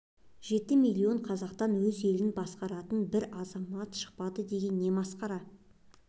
жеті миллион қазақтан өз елін басқаратын бір азамат шықпады деген не масқара